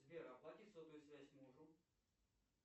сбер оплати сотовую связь мужу